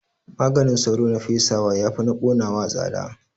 Maganin sauro na fesawa yafi na ƙonawa tsada